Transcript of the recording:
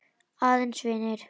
Aðeins vinir.